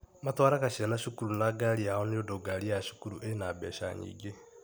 Matwaraga ciana cukuru na ngari yao nĩndũ ngari ya cukuru ĩna mbeca nyingĩ.